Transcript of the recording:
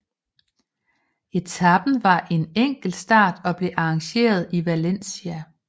Etapen var en enkeltstart og blev arrangeret i Valencia